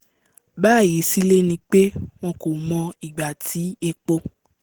báyìí sílé ni pé wọn kò mọ ìgbà tí epo